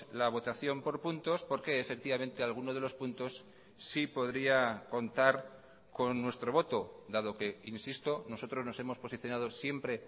la votación por puntos porque efectivamente alguno de los puntos sí podría contar con nuestro voto dado que insisto nosotros nos hemos posicionado siempre